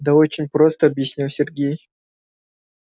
да очень просто объяснил сергей